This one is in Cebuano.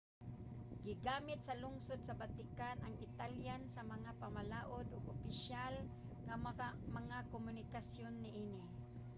gigamit sa lungsod sa vatican ang italian sa mga pamalaod ug opisyal nga mga komunikasyon niini